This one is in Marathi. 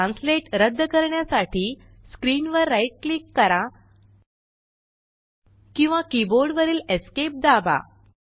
ट्रान्सलेट रद्द करण्यासाठी स्क्रीन वर राइट क्लिक करा किंवा कीबोर्ड वरीलEsc दाबा